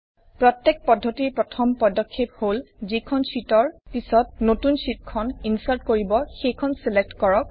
প্ৰত্যেক পদ্ধতিৰ প্ৰথম পদক্ষেপ হল যিখন শ্বিটৰ পিছত নতুন শ্বিটখন ইনচাৰ্ট কৰিব সেইখন ছিলেক্ট কৰক